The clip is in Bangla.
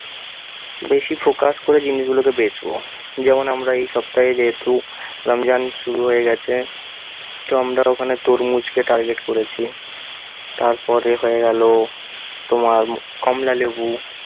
বেশি focus ক'রে জিনিসগুলোকে বেঁচবো। যেমন আমরা এই সপ্তাহে যেহেতু রমজান শুরু হয়ে গেছে, তো আমরা ওখানে তরমুজকে target করেছি তারপরে হয়ে গেল তোমার কমলা লেবু